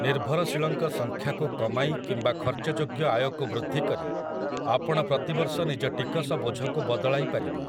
ନିର୍ଭରଶୀଳଙ୍କ ସଂଖ୍ୟାକୁ କମାଇ କିମ୍ବା ଖର୍ଚ୍ଚଯୋଗ୍ୟ ଆୟକୁ ବୃଦ୍ଧି କରି, ଆପଣ ପ୍ରତିବର୍ଷ ନିଜ ଟିକସ ବୋଝକୁ ବଦଳାଇ ପାରିବେ ।